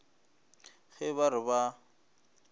ge ba re ba a